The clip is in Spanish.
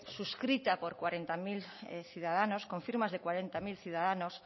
suscrita por cuarenta mil ciudadanos con firmas de cuarenta mil ciudadanos